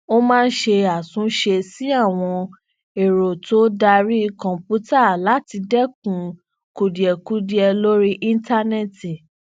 ó máa ń ṣe àtúnṣe sí àwọn èrọ to dari kòǹpútà lati dẹkun kudiẹkudiẹ lori íńtánéètì